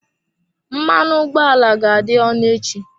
Mmanụ ụgbọ ala ga-adị ọnụ echi.